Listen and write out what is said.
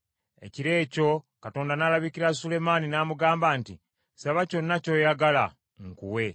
Ekiro ekyo Katonda n’alabikira Sulemaani n’amugamba nti, “Saba kyonna ky’oyagala nkuwe.”